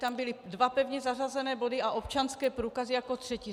Tam byly dva pevně zařazené body a občanské průkazy jako třetí.